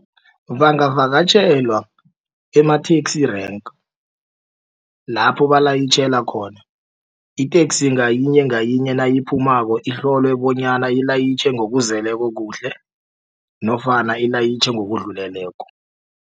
Bangavakatjhelwa ema-taxi rank lapho balayitjhela khona iteksi ngayinye ngayinye nayiphumako ihlolwe bonyana ilayitjhe ngokuzeleko kuhle nofana ilayitjhe ngokudluleleko.